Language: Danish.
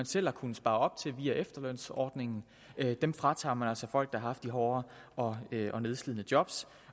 selv har kunnet spare op til via efterlønsordningen fratager man altså folk der har haft de hårde og og nedslidende job